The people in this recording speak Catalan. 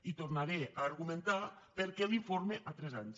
i tornaré a argumentar per què l’informe a tres anys